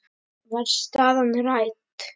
Var staðan rædd?